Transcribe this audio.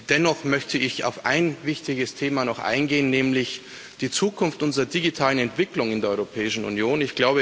Dennoch möchte ich auf ein wichtiges Thema noch eingehen, nämlich die Zukunft unserer digitalen Entwicklung in der Europäischen Union.